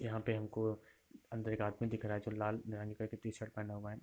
यहाँ पे हमको अंदर एक आदमी दिख रहा है जो लाल कलर के टीशर्ट पहना हुआ है।